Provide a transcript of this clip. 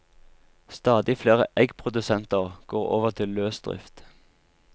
Stadig flere eggprodusenter går over til løsdrift.